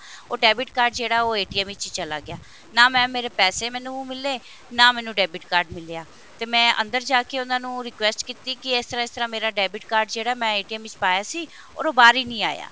ਉਹ debit card ਜਿਹੜਾ ਉਹ ਵਿੱਚ ਚਲਾ ਗਿਆ ਨਾ mam ਮੇਰੇ ਪੈਸੇ ਮੈਨੂੰ ਮਿਲੇ ਨਾ ਮੈਨੂੰ debit card ਮਿਲਿਆ ਤੇ ਮੈਂ ਅੰਦਰ ਜਾਕੇ ਉਹਨੂੰ request ਕੀਤੀ ਕਿ ਇਸ ਤਰ੍ਹਾਂ ਇਸ ਤਰ੍ਹਾਂ ਮੇਰਾ debit card ਜਿਹੜਾ ਮੈਂ ਵਿੱਚ ਪਾਇਆ ਸੀ or ਉਹ ਬਾਹਰ ਹੀ ਨਹੀਂ ਆਇਆ